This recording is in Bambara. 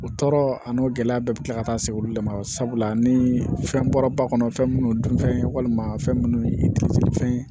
O tɔɔrɔ a n'o gɛlɛya bɛɛ bɛ kila ka taa se olu de ma sabula ni fɛn bɔra ba kɔnɔ fɛn minnu dunfɛn ye walima fɛn minnu ye fɛn ye